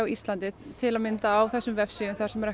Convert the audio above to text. Íslandi til að mynda á þessum vefsíðum þar sem er